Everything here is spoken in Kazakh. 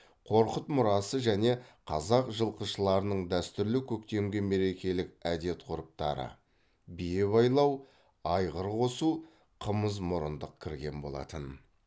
қорқыт мұрасы және қазақ жылқышыларының дәстүрлі көктемгі мерекелік әдет ғұрыптары бие байлау айғыр қосу қымыз мұрындық кірген болатын